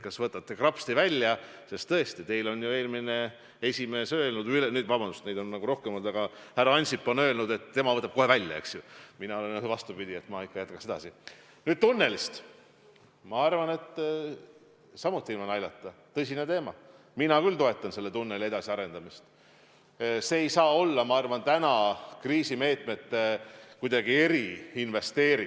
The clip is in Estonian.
Arvestades, et tegemist on väga suure projektiga, mis annaks tööd aastakümneteks, mis kasvataks majandust nii ehituse ajal kui ka selle valmides, kas äkki poliitikat korraks kõrvale heites, kui me mõlemad oleme pensioniealised mehed – hoolimata sellest, et Seeder on meilt ära võtnud meie pensionisamba –, poleks ilus, kui me saaksime mõlemad minna näitama lastele, et näete, lapsed, see Tallinna–Helsingi tunnel ehk see suur ühendus sündis ühe kriisi ajal, kui poliitikud lõid käed ja tegid midagi oma rahva jaoks?